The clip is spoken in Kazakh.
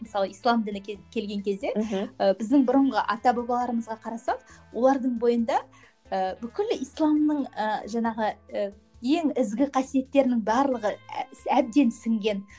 мысалы ислам діні келген кезде мхм ы біздің бұрынғы ата бабаларымызға қарасақ олардың бойында ы бүкіл исламның ы жаңағы ы ең ізгі қасиеттерінің барлығы әбден сіңген